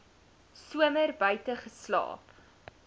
somer buite geslaap